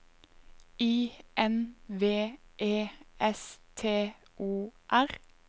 I N V E S T O R